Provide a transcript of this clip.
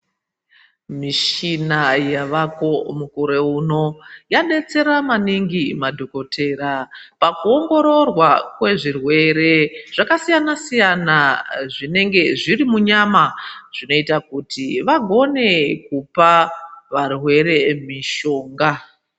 Mishina yavako mukore uno yadetsera maningi madhokotera pakuongororwa kwezvirwere zvakasiyana siyana zvinenga zviri munyama zvinoita kuti vagone kupa varwere mishonga.